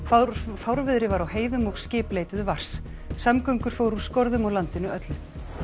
fárviðri var á heiðum og skip leituðu vars samgöngur fóru úr skorðum á landinu öllu